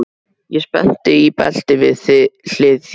Ég spennt í belti við hlið þér.